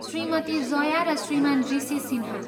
श्रीमती जया र श्रीमान ऋषि सिन्हा।